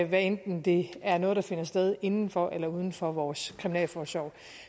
hvad enten det er noget der finder sted inden for eller uden for vores kriminalforsorg